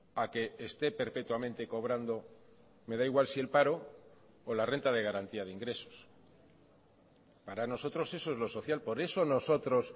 a que esté perpetuamente cobrando me da igual si el paro o la renta de garantía de ingresos para nosotros eso es lo social por eso nosotros